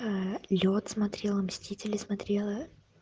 лёд смотрела мстители смотрела